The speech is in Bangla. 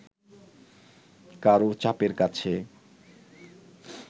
কারও চাপের কাছে